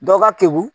Dɔ ka teli